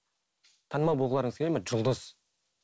танымал болғыларыңыз келеді ме жұлдыз